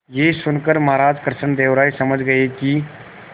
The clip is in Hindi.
यह सुनकर महाराज कृष्णदेव राय समझ गए कि